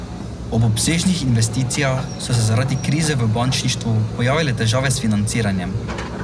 Ob obsežnih investicijah so se zaradi krize v bančništvu pojavile težave s financiranjem.